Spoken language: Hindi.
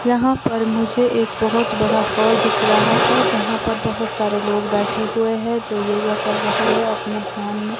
यहां पर मुझे एक बहुत बड़ा हॉल दिख रहा है। जहां पर बहुत सारे लोग बैठे हुए है जो योगा कर रहे हैं। अपने ध्यान में--